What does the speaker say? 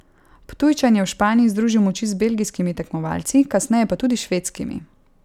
Ptujčan je v Španiji združil moči z belgijskimi tekmovalci, kasneje pa tudi švedskimi.